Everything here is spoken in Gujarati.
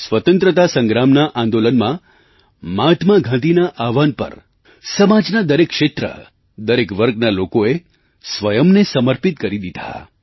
સ્વતંત્રતા સંગ્રામના આંદોલનમાં મહાત્મા ગાંધીના આહવાન પર સમાજના દરેક ક્ષેત્ર દરેક વર્ગના લોકોએ સ્વયંને સમર્પિત કરી દીધા